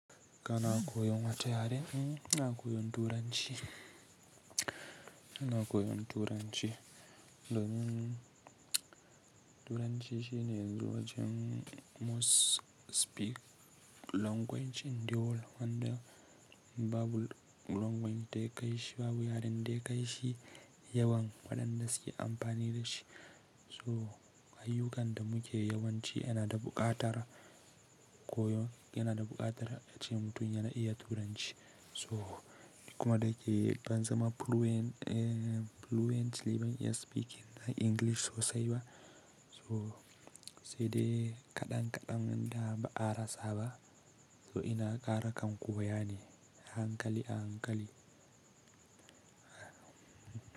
Ka na koyon wace yarene? Ina koyon turanci. Ina koyon turanci domin turanci shine yanzu wajen most speak language in the world wanda babu language daya kai shi babu yaren da ya kai shi yawan waɗanda suke amfani da shi. So ayyukan da muke yawanci yana da buƙatar koyon yana da buƙatar a cikin duniya na iya Turanci. So kuma da ke ban zama fluent, fluent ban iya speaking na English sosai ba. Sai dai kaɗan kaɗan nan da ba ara saba. So ina kara kan koya ne a hankali a hankali.